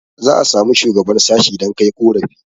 za a samu shuagaban sashi dan Kai ƙorafi